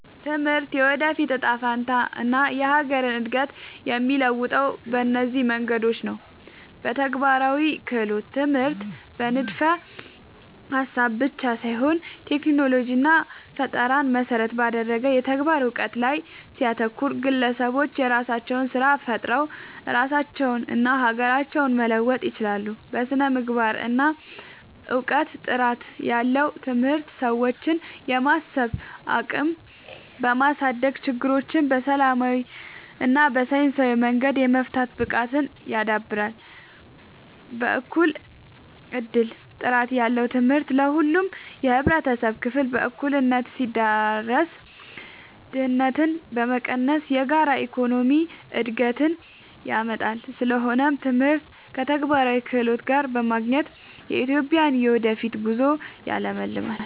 ትምህርት የወደፊት እጣ ፈንታንና የሀገርን እድገት የሚለውጠው በእነዚህ መንገዶች ነው፦ በተግባራዊ ክህሎት፦ ትምህርት በንድፈ-ሀሳብ ብቻ ሳይሆን ቴክኖሎጂንና ፈጠራን መሰረት ባደረገ የተግባር እውቀት ላይ ሲያተኩር፣ ግለሰቦች የራሳቸውን ስራ ፈጥረው ራሳቸውንና ሀገራቸውን መለወጥ ይችላሉ። በስነ-ምግባርና እውቀት፦ ጥራት ያለው ትምህርት የሰዎችን የማሰብ አቅም በማሳደግ፣ ችግሮችን በሰላማዊና በሳይንሳዊ መንገድ የመፍታት ብቃትን ያዳብራል። በእኩል እድል፦ ጥራት ያለው ትምህርት ለሁሉም የህብረተሰብ ክፍል በእኩልነት ሲዳረስ፣ ድህነትን በመቀነስ የጋራ የኢኮኖሚ እድገትን ያመጣል። ስለሆነም ትምህርትን ከተግባራዊ ክህሎት ጋር ማገናኘት የኢትዮጵያን የወደፊት ጉዞ ያለምልማል።